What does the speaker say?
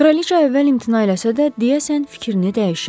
Kraliça əvvəl imtina eləsə də, deyəsən, fikrini dəyişir.